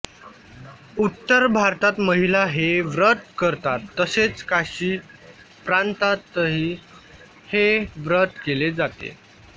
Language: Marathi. उत्तर भारतात महिला हे व्रत करतात तसेच काशी प्रांतातही हे व्रत केले जाते